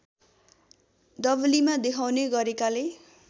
डबलीमा देखाउने गरेकाले